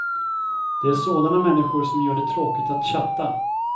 Det är sådana människor som gör det tråkigt att chatta.